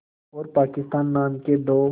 और पाकिस्तान नाम के दो